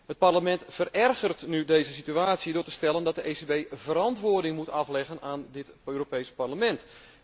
Het Parlement verergert nu deze situatie door te stellen dat de ECB verantwoording moet afleggen aan dit Europees Parlement.